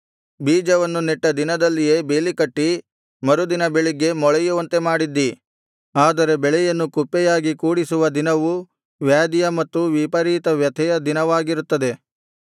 ಬೀಜವನ್ನು ನೆಟ್ಟ ದಿನದಲ್ಲಿಯೇ ಬೇಲಿಕಟ್ಟಿ ಮರುದಿನ ಬೆಳಿಗ್ಗೆ ಮೊಳೆಯುವಂತೆ ಮಾಡಿದ್ದೀ ಆದರೆ ಬೆಳೆಯನ್ನು ಕುಪ್ಪೆಯಾಗಿ ಕೂಡಿಸುವ ದಿನವು ವ್ಯಾಧಿಯ ಮತ್ತು ವಿಪರೀತ ವ್ಯಥೆಯ ದಿನವಾಗಿರುತ್ತದೆ